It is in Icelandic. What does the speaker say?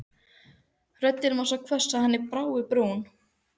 Röddin var svo hvöss að henni brá í brún.